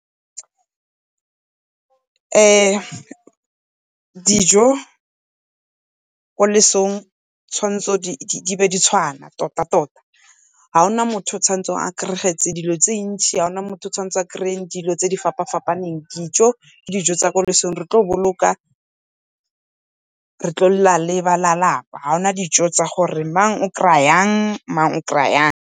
Dijo ko losong tshawanetse di be di tshwana tota-tota. Ga gona motho o tshwanetseng go kry-a dilo tse dintse, ga gona motho o tshwanetseng go kry-a dilo tse di fapa-fapaneng. Dijo ke dijo tsa ko losong re tlo boloka re tlo lela le ba lelapa, ha hona dijo tsa gore mang o kry-a yang, mang o kry-a yang.